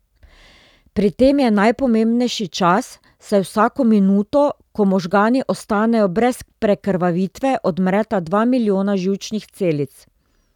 Pri tem je najpomembnejši čas, saj vsako minuto, ko možgani ostanejo brez prekrvavitve, odmreta dva milijona živčnih celic.